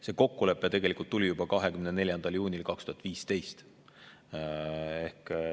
See kokkulepe tehti tegelikult juba 24. juunil 2015.